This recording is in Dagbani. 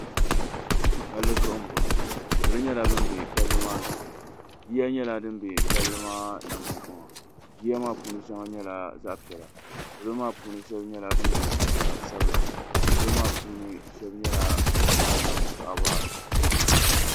Palli zuɣu mboŋɔ salo nyɛla ban be palli maa zuɣu yiya nyɛla din be palli maa nangbankpaŋa yiya maa puuni nyɛla zaɣa piɛlla salo maa puuni shebi nyɛla ban ye liiga sabla salo maa puuni shebi nyɛla ban nyɛ paɣaba.